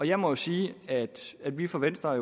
jeg må sige at at vi fra venstres